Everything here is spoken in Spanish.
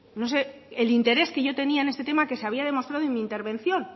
no sé el interés que yo tenía en este tema que se había demostrado en mi intervención